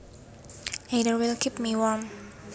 Either will keep me warm